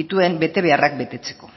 dituen betebeharrak betetzeko